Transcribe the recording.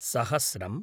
सहस्रम्